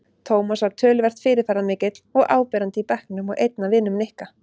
Tómas var töluvert fyrirferðarmikill og áberandi í bekknum og einn af vinum Nikka.